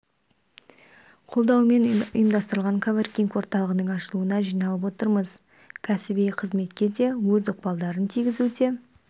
қолдауымен ұйымдастырылған коворкинг-орталығының ашылуына жиналып отырмыз кәсіби қызметке де өз ықпалдарын тигізуде